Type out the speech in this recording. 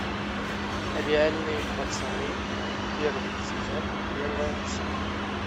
реальные пацаны первый сезон первая серия